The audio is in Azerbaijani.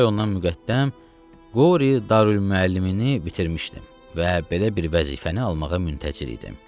Üç ay ondan müqəddəm Qori Darülmüəllimini bitirmişdim və belə bir vəzifəni almağa müntəzir idim.